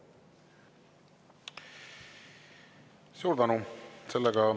Suur tänu!